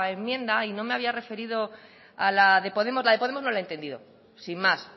enmienda y no me había referido a la de podemos la de podemos no la he entendido sin más